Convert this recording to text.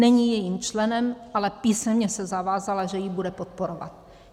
Není jejím členem, ale písemně se zavázala, že ji bude podporovat.